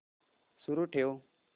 सुरू ठेव